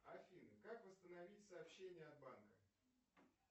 афина как восстановить сообщение от банка